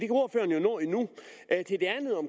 ordføreren jo nå endnu